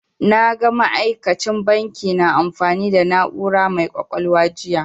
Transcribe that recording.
Na ga ma'aikacin banki na amfani da na'ura mai ƙwaƙwalwa jiya.